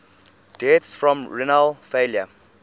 deaths from renal failure